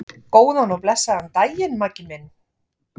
Góðan og blessaðan daginn, Maggi minn.